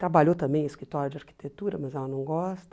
Trabalhou também em escritório de arquitetura, mas ela não gosta.